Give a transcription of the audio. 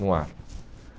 No ar.